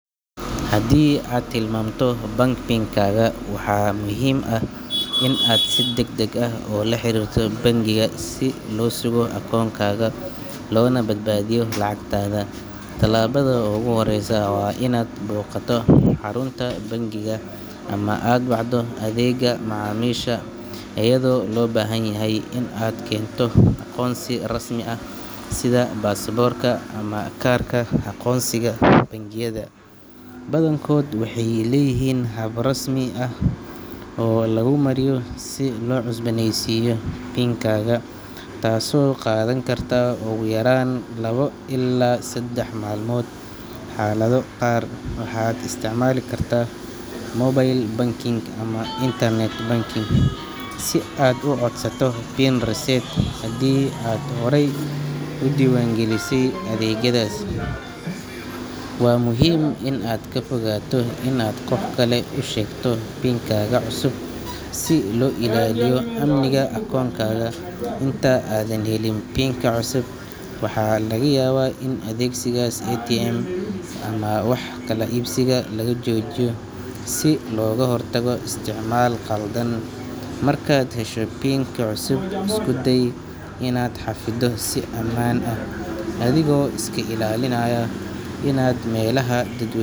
Haddii aad hilmaanto bank PIN-kaaga, waxaa muhiim ah inaad si degdeg ah ula xiriirto bangigaaga si loo sugo akoonkaaga loona badbaadiyo lacagtaada. Tallaabada ugu horreysa waa inaad booqato xarunta bangiga ama aad wacdo adeegga macaamiisha, iyadoo loo baahan yahay inaad keento aqoonsi rasmi ah sida baasaboorka ama kaarka aqoonsiga. Bangiyada badankood waxay leeyihiin hab rasmi ah oo laguu mariyo si loo cusbooneysiiyo PIN-kaaga, taasoo qaadan karta ugu yaraan laba ilaa saddex maalmood. Xaalado qaar, waxaad isticmaali kartaa mobile banking ama internet banking si aad u codsato PIN reset, haddii aad horey u diiwaangelisay adeegyadaas. Waa muhiim inaad ka fogaato inaad qof kale u sheegto PIN-kaaga cusub, si loo ilaaliyo amniga akoonkaaga. Inta aadan helin PIN-ka cusub, waxaa laga yaabaa in adeegsiga ATM-ka ama wax kala iibsiga laga joojiyo si looga hortago isticmaal khaldan. Markaad hesho PIN-ka cusub, isku day inaad xafiddo si ammaan ah, adigoo iska ilaalinaya inaad meelaha dadwe.